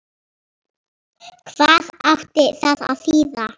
Hvað átti það að þýða?